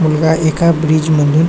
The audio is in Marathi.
मुलगा एका ब्रीज् मधून --